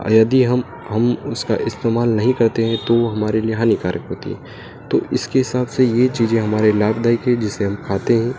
और यदि हम हम उसका इस्तेमाल नहीं करते हैं तो हमारे लिए हानिकारक होती है। तो इसके हिसाब से ये चीजे हमारे लिए लाभदायक है जिसे हम खाते हैं।